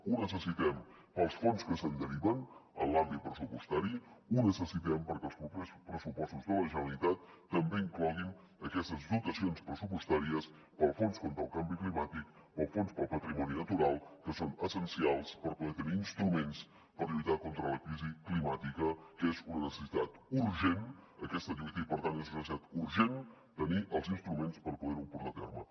ho necessitem pels fons que se’n deriven en l’àmbit pressupostari ho necessitem perquè els propers pressupostos de la generalitat també incloguin aquestes dotacions pressupostàries per als fons contra el canvi climàtic per al fons per al patrimoni natural que són essencials per poder tenir instruments per lluitar contra la crisi climàtica que és una necessitat urgent aquesta lluita i per tant és una necessitat urgent tenir els instruments per poder ho portar a terme